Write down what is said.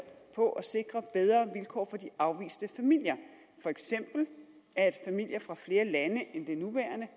på at sikre bedre vilkår for de afviste familier for eksempel at familier fra flere lande end de nuværende